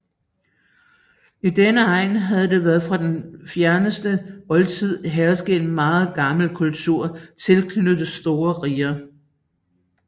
I denne egn havde der fra den fjerneste oldtid hersket en meget gammel kultur tilknyttet store riger